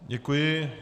Děkuji.